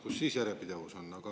Kus siis järjepidevus on?